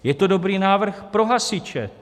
Je to dobrý návrh pro hasiče.